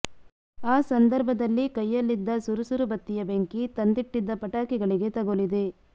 ಆ ಸಂದರ್ಭದಲ್ಲಿ ಕೈಯಲ್ಲಿದ್ದ ಸುರುಸುರು ಬತ್ತಿಯ ಬೆಂಕಿ ತಂದಿಟ್ಟಿದ್ದ ಪಟಾಕಿಗಳಿಗೆ ತಗುಲಿದೆ